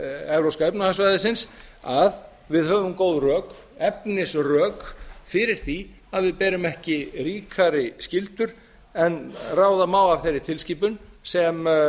evrópska efnahagssvæðisins að við höfum góð rök efnisrök fyrir því að við berum ekki ríkari skyldur en ráða má af þeirri tilskipun sem